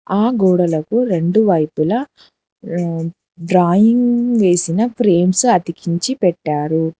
ఆ గోడలకు రెండు వైపులా డ్ర డ్రాయింగ్ వేసిన ప్రేమ్స్ అతికించి పెట్టారు.